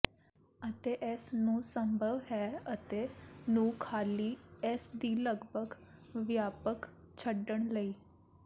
ਅਤੇ ਇਸ ਨੂੰ ਸੰਭਵ ਹੈ ਅਤੇ ਨੂੰ ਖਾਲੀ ਇਸ ਦੇ ਲਗਭਗ ਵਿਆਪਕ ਛੱਡਣ ਲਈ